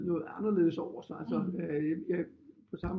Noget anderledes over sig på samme